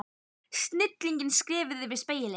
Snigillinn skreið yfir spegilinn.